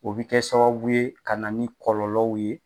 O bɛ kɛ sababu ye ka na ni kɔlɔlɔw ye